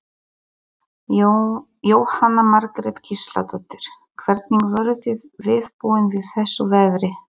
Jóhanna Margrét Gísladóttir: Hvernig voruð þið viðbúin við þessu veðri?